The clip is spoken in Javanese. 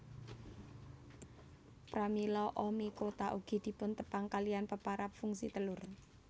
Pramila Oomycota ugi dipuntepang kaliyan peparab fungi telur